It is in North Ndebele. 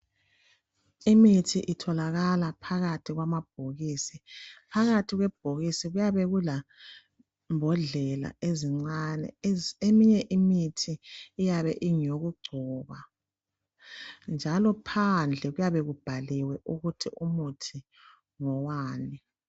Imithi itholakala phakathi kwamabhokisi .Phakathi kwebhokisi kuyabe kulembodlela ezincane, eminye imithi iyabe ingeyokugcoba njalo phandle kuyabe kubhaliwe ukuthi umuthi ngowani.